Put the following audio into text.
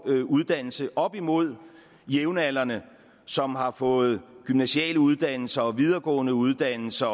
uddannelse op imod jævnaldrende som har fået gymnasiale uddannelser og videregående uddannelser